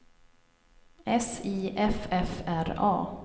S I F F R A